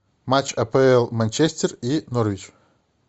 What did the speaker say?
матч апл манчестер и норвич